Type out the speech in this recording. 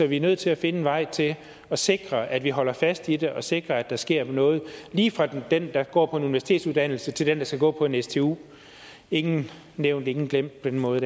vi er nødt til at finde en vej til at sikre at vi holder fast i det og sikre at der sker noget lige fra den der går på en universitetsuddannelse til den der skal gå på en stu ingen nævnt ingen glemt på den måde